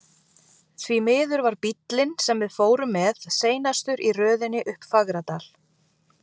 Því miður var bíllinn, sem við fórum með, seinastur í röðinni upp Fagradal.